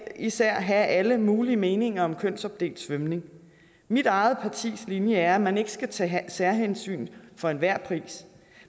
især have alle mulige meninger om kønsopdelt svømning mit eget partis linje er at man ikke skal tage særhensyn for enhver pris